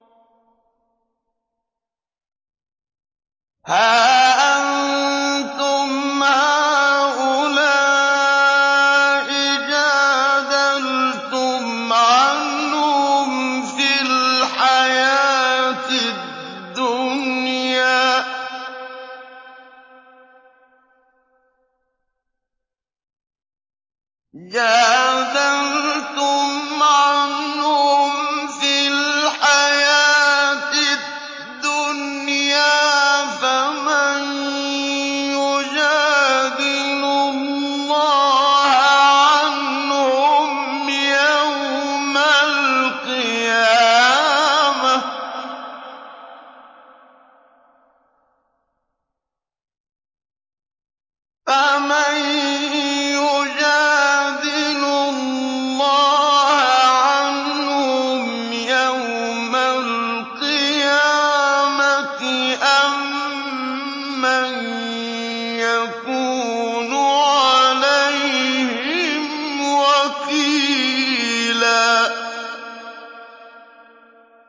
هَا أَنتُمْ هَٰؤُلَاءِ جَادَلْتُمْ عَنْهُمْ فِي الْحَيَاةِ الدُّنْيَا فَمَن يُجَادِلُ اللَّهَ عَنْهُمْ يَوْمَ الْقِيَامَةِ أَم مَّن يَكُونُ عَلَيْهِمْ وَكِيلًا